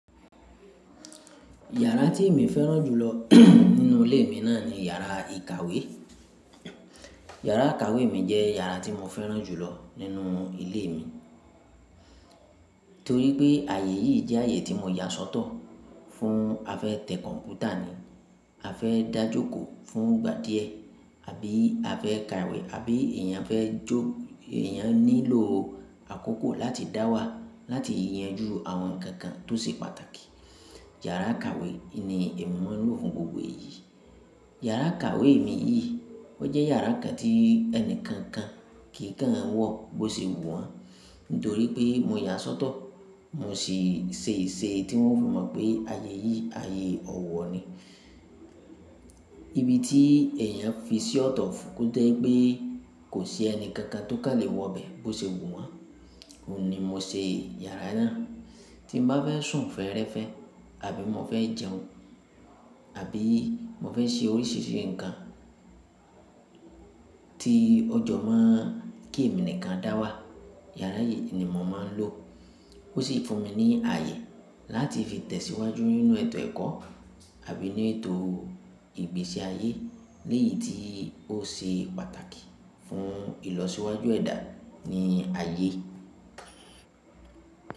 Yàrá tí mi fẹ́ràn jùlọ nínú ilé mi náà ni yàrá ìkàwé. Yàrá ìkàwé mi jẹ́ yàrá tí mo fẹ́ràn jùlọ nínú ilé mi, torí pé ààyè yìí jẹ́ ààyè tí mo yà sọ́tọ̀ fún a fẹ́ tẹ kọ̀npútà ni, a fẹ́ dájòkò fún ìgbà díẹ, àbí a fẹ́ ka ìwé, àbí èèyàn fẹ́ jó, èèyàn nílò àkókò láti dáwà láti yanjú àwọn nǹkan kan tó ṣe pàtàkì. Yàrá ìkàwé ni èmi máa ń lò fún gbogbo èyí. Yàrá ìkàwé mi yìí, ó jẹ́ yàrá kan tí ẹni kankan kì í kàn wọ̀ bó ṣe wù wọ́n, nítorí pé mo yà á sọ́tọ̀, mo sì ṣe ìṣe tí wọ́n fi mọ̀ pé ààyè yìí, ààyè ọ̀wọ̀ ni. Ibi tí èèyàn fi ṣí ọ̀tọ̀ fún kúndè pé kò sí ẹni kankan tó kà lè wọ bẹ́ bó ṣe wù wọ́n, òun ni mo ṣe yàrá náà. Tí mo bá fẹ́ sùn fẹ́rẹ́fẹ́, àbí mo fẹ́ jẹun, àbí mo fẹ́ ṣe oríṣiríṣi nǹkan tí ọjọ́ mo kí èmi nìkan dáwà, yàrá yìí ni mò ń máa ń lò. Ó sì fún mi ní ààyè láti fi tẹ̀síwájú nínú ètò ẹ̀kọ́ àbí ní ètò ìgbésí ayé, léyì tí ó ṣe pàtàkì fún ìlọsíwájú ẹ̀dá ni ààyè.